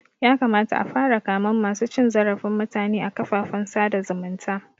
Ya kamata a fara kamen masu cin zarafin mutume a kafafen sada zumunta